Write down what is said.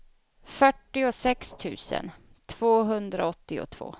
fyrtiosex tusen tvåhundraåttiotvå